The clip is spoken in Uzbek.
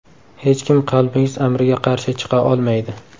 Hech kim qalbingiz amriga qarshi chiqa olmaydi.